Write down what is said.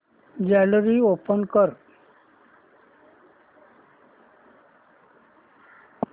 gallery open कर